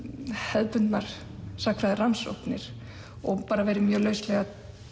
hefðbundnar sagnfræðirannsóknir og verið mjög lauslega